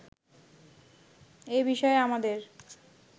এ বিষয়ে আমাদের